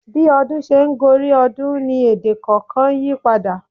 Bí ọdún ṣe ń gorí ọdún ni èdè kọ̀ọ̀kan yípadà.